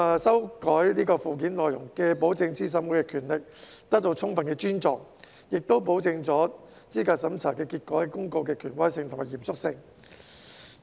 修正案既保證資審會的權力受到充分尊重，亦保證了資格審查結果公告的權威性和嚴肅性。